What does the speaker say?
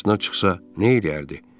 Qarşısına çıxsa nə eləyərdi?